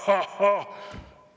Haa-haa-haa!